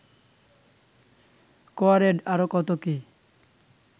কোয়ারেড আরও কত কী